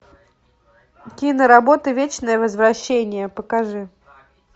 киноработа вечное возвращение покажи